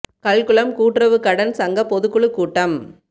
கல்குளம் கூட்டுறவு கடன் சங்க பொதுக்குழு கூட்டம்